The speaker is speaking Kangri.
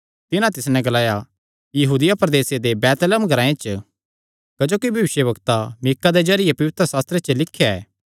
तिन्हां तिस नैं ग्लाया यहूदिया प्रदेसे दे बैतलहम ग्रांऐ च क्जोकि भविष्यवक्ता मीका दे जरिये पवित्रशास्त्रे च लिख्या ऐ